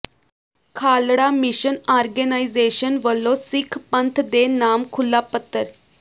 Khalra mission organisation ਵਲੋਂ ਸਿੱਖ ਪੰਥ ਦੇ ਨਾਮ ਖੁੱਲਾ ਪੱਤਰ